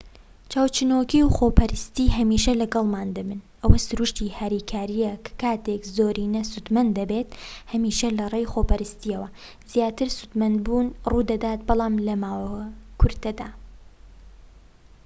چاوچنۆکی و خۆپەرستی هەمیشە لەگەڵمان دەبن ئەوە سروشتی هاریکاریە کە کاتێك زۆرینە سودمەند دەبێت هەمیشە لەڕێی خۆپەرستیەوە زیاتر سودمەندبوون ڕوودەدات بەڵام لەماوە کورتدا